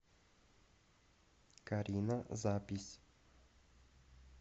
карина запись